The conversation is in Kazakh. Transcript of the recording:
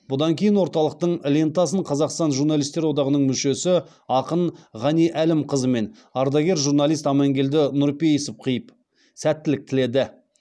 бұдан кейін орталықтың лентасын қазақстан журналистер одағының мүшесі ақын ғани әлімқызы мен ардагер журналист амангелді нұрпейісов қиып сәттілік тіледі